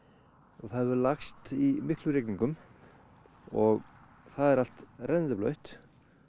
og það hefur lagst í miklum rigningum og það er allt rennandi blautt